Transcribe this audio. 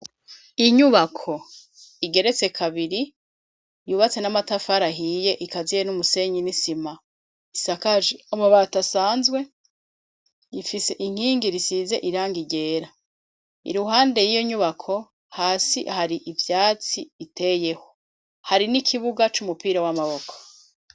Inyubako igeretse kabiri yubatse amatafari ahiye ikaziye numusenyi nisima isakajwe amabati asanzwe Ifise inkingi risize irangi ryera iruhande yiyonyubako hasi hari ivyatsi biteyeho hari nikibuga c'umupira wamaboko.